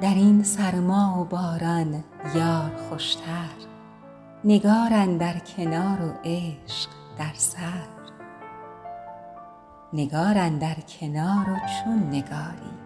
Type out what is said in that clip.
در این سرما و باران یار خوشتر نگار اندر کنار و عشق در سر نگار اندر کنار و چون نگاری